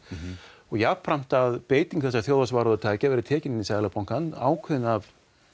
og jafnframt að beitingu þessa þjóðhagsvarúðartækja verði tekin inn í Seðlabankann ákveðin af